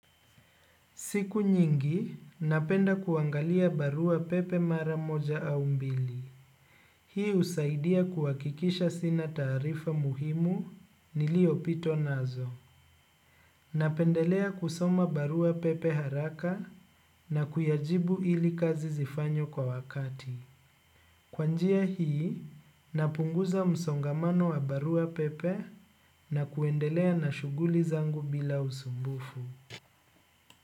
Siku nyingi, napenda kuangalia barua pepe mara moja au mbili. Hii usaidia kuwakikisha sina taarifa muhimu niliopitwa nazo. Napendelea kusoma barua pepe haraka na kuyajibu ili kazi zifanywe kwa wakati. Kwa njia hii, napunguza msongamano wa barua pepe na kuendelea na shuguli zangu bila usumbufu.